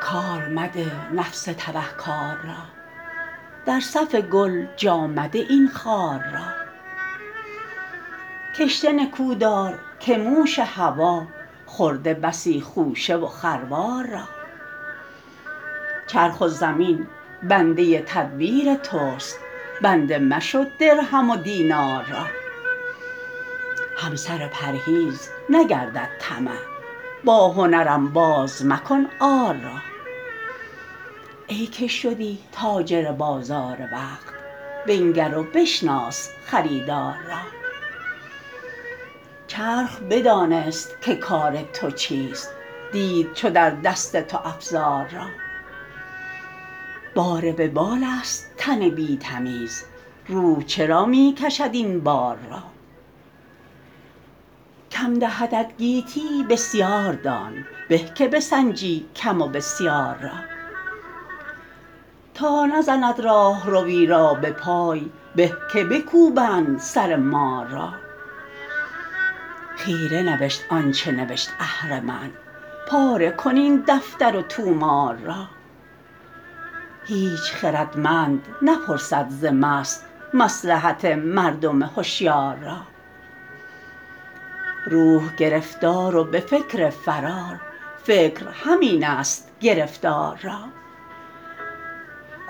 کار مده نفس تبه کار را در صف گل جا مده این خار را کشته نکودار که موش هوی خورده بسی خوشه و خروار را چرخ و زمین بنده تدبیر تست بنده مشو درهم و دینار را همسر پرهیز نگردد طمع با هنر انباز مکن عار را ای که شدی تاجر بازار وقت بنگر و بشناس خریدار را چرخ بدانست که کار تو چیست دید چو در دست تو افزار را بار وبال است تن بی تمیز روح چرا می کشد این بار را کم دهدت گیتی بسیاردان به که بسنجی کم و بسیار را تا نزند راهروی را بپای به که بکوبند سر مار را خیره نوشت آنچه نوشت اهرمن پاره کن این دفتر و طومار را هیچ خردمند نپرسد ز مست مصلحت مردم هشیار را روح گرفتار و بفکر فرار فکر همین است گرفتار را